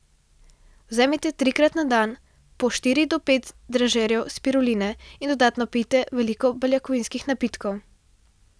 Vzemite trikrat na dan po štiri do pet dražejev spiruline in dodatno pijte veliko beljakovinskih napitkov.